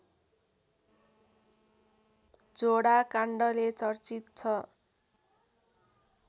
झोडा काण्डले चर्चित छ